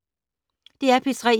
DR P3